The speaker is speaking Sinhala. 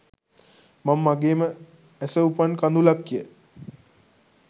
මං මගෙම ඇස උපන් කඳුලක් ය